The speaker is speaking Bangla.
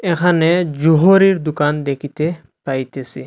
এখানে জহুরীর দোকান দেখিতে পাইতেছি।